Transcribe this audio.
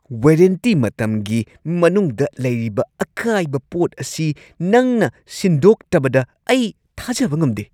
Warranty ꯃꯇꯝꯒꯤ ꯃꯅꯨꯡꯗ ꯂꯩꯔꯤꯕ ꯑꯀꯥꯏꯕ ꯄꯣꯠ ꯑꯁꯤ ꯅꯪꯅ ꯁꯤꯟꯗꯣꯛꯇꯕꯗ ꯑꯩ ꯊꯥꯖꯕ ꯉꯝꯗꯦ ꯫